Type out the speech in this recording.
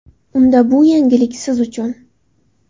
Unda bu yangilik siz uchun!